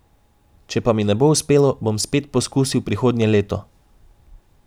Če pa mi ne bo uspelo, bom spet poskusil prihodnje leto.